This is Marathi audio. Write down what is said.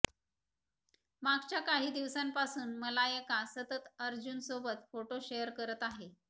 मागच्या काही दिवसांपासून मलायका सतत अर्जुनसोबत फोटो शेअर करत आहे